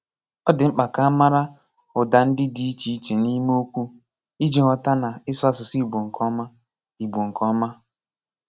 Ọ dị mkpa ka a mara ùdà ndị dị íchẹ̀ íchè n’ime okwu iji ghọta na ísū ásùsú Igbo nke ọ́má. Igbo nke ọ́má.